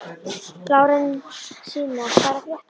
Lárensína, hvað er að frétta?